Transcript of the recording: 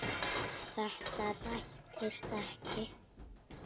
Þetta rættist ekki.